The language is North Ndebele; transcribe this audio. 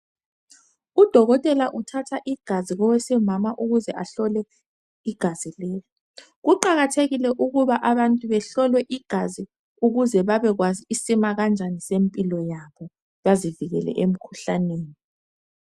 Udokotela uthatha igazi kowesimama ukuze ahlole igazi leli. Kuqakathekile ukuba abantu behlolwe igazi ukuze babekwazi isimakanjani sempilo yabo, bazivikele emkhuhlaneni.